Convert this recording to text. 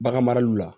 Bagan maraliw la